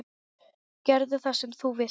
Gerðu það sem þú vilt!